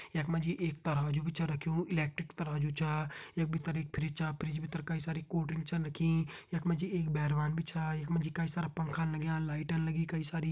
यख मा जी एक तराजू भी छ रख्युं इलेक्ट्रिक तराजू छा यख भितर एक फ्रिज छा फ्रिज भितर कई सारी कोल्ड ड्रिंक छन रखीं यख मा जी एक बैरवान भी छा यख मा जी कई सारा पंखान लग्यां लाइटन लगीं कई सारी।